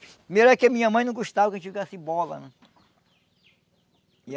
Primeiro é que a minha mãe não gostava que a gente jogasse bola, né? E